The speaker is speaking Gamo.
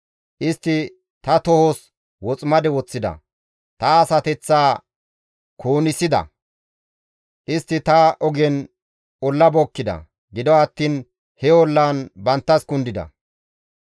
Istti ta tohos woximade woththida; ta asateththaa kuunissida; istti ta ogen olla bookkida; gido attiin he ollan banttas kundida.